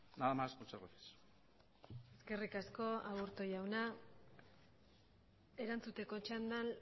nada más muchas gracias eskerrik asko aburto jauna erantzuteko txandan